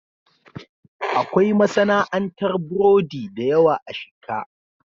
Akwai masana'antar burodi da yawa a Shika.